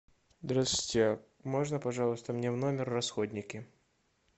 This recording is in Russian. здравствуйте можно пожалуйста мне в номер расходники